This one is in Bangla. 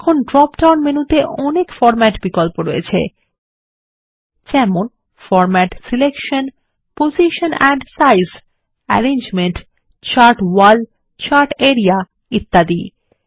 দেখুন ড্রপ ডাউন মেনুতে অনেক বিন্যাস বিকল্প রয়েছে যেমন format selection position and size arrangement chart wall chart area ইত্যাদি